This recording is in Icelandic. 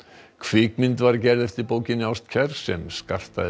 kvikmynd var gerð eftir bókinni ástkær sem skartaði